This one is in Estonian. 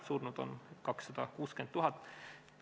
Surnud on 260 000 inimest.